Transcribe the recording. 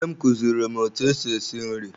Nne m kuziri m etụ esị esị nri.